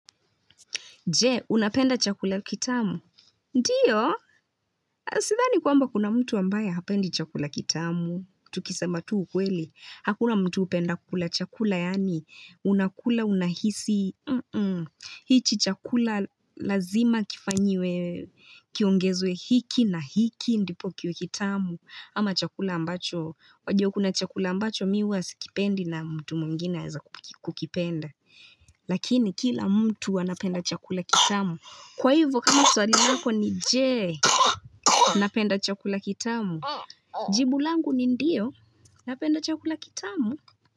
Je, unapenda chakula kitamu? Ndiyo, sidhani kwamba kuna mtu ambaye hapendi chakula kitamu. Tukisamba tu ukweli, hakuna mtu hupenda kula chakula yaani, unakula, unahisi. Hichi chakula lazima kifanyiwe, kiongezwe hiki na hiki, ndipo kiwe kitamu. Ama chakula ambacho, wajio kuna chakula ambacho miwa hasikipendi na mtu mwingine anaeza kukipenda. Lakini kila mtu wanapenda chakula kitamu Kwa hivyo kama swali nako ni Je Napenda chakula kitamu, jibu langu ni ndiyo napenda chakula kitamu.